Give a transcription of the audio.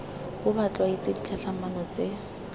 bo ba tlwaetse ditlhatlhamano tse